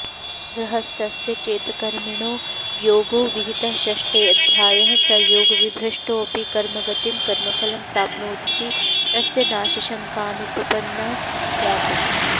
गृहस्थस्य चेत्कर्मिणो योगो विहितः षष्ठेऽध्याये स योगविभ्रष्टोऽपिकर्मगतिं कर्मफलं प्राप्नोतीति तस्य नाशाशङ्कानुपपन्ना स्यात्